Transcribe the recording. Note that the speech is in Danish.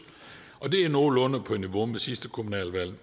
og det er nogenlunde på niveau med sidste kommunalvalg